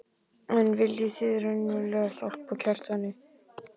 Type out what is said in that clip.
En viljið þið raunverulega hjálpa Kjartani?